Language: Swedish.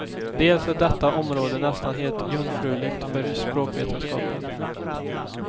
Dels är detta område nästan helt jungfruligt för språkvetenskapen.